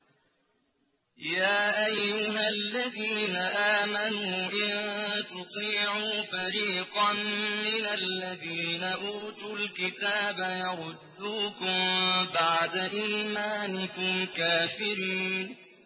يَا أَيُّهَا الَّذِينَ آمَنُوا إِن تُطِيعُوا فَرِيقًا مِّنَ الَّذِينَ أُوتُوا الْكِتَابَ يَرُدُّوكُم بَعْدَ إِيمَانِكُمْ كَافِرِينَ